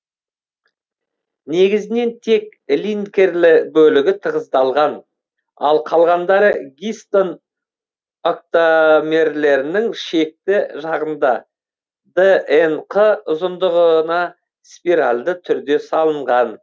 негізінен тек линкерлі бөлігі тығыздалған ал калғандары гистон октамерлерінің шеткі жағында днқ ұзындығына спиральді түрде салынған